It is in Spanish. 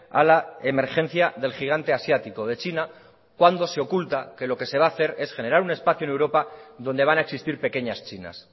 a la emergencia del gigante asiático de china cuando se oculta que lo que se va a hacer es generar un espacio en europa donde van a existir pequeñas chinas